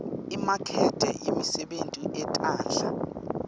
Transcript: imakethe yemisebenti yetandla